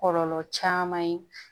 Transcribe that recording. Kɔlɔlɔ caman ye